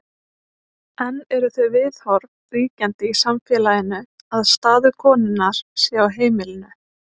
enn eru þau viðhorf ríkjandi í samfélaginu að staður konunnar sé á heimilinu